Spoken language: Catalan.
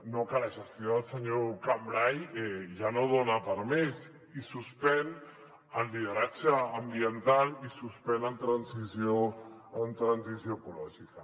no que la gestió del senyor cambray ja no dona per a més i suspèn en lideratge ambiental i suspèn en transició ecològica